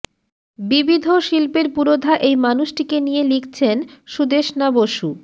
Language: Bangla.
বিবিধ শিল্পের পুরোধা এই মানুষটিকে নিয়ে লিখছেন সুদেষ্ণা বসু